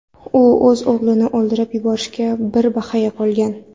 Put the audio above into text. U o‘z o‘g‘lini o‘ldirib yuborishiga bir baxya qolgan.